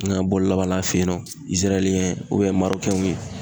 U nana bɔli laban la a fe yen nɔ Iziraliyɛn ɲɛgɛn Marokɛnw ye.